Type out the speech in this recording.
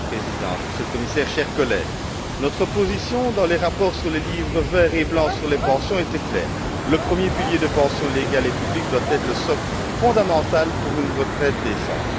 Madame la Présidente, Monsieur le Commissaire, chers collègues, notre position dans les rapports sur les livres vert et blanc sur les pensions est claire. Le premier pilier de pension légale et publique doit être le socle fondamental pour une retraite décente.